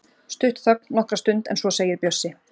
Stutt þögn nokkra stund en svo segir Bjössi